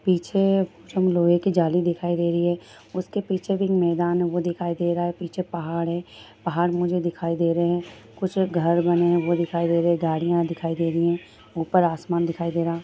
पीछे लोहे की जाली दिखाई दे रही है उसके पीछे फिर मैदान है वो दिखाई दे रहा है पीछे पहाड़ है पहाड़ मुझे दिखाई दे रहे है कुछ घर बने है वो दिखाई दे रहे है गाड़ियां दिखाई दे रही है ऊपर आसमान दिखाई दे रहा --